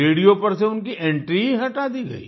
radio पर से उनकी एंट्री ही हटा दी गई